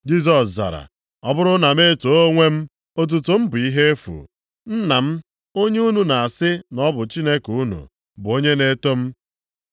Jisọs zara, “Ọ bụrụ na m etoo onwe m, otuto m bụ ihe efu, Nna m, onye unu na-asị na ọ bụ Chineke unu, bụ onye na-eto m.